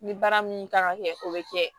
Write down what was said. Ni baara min kan ka kɛ o be kɛ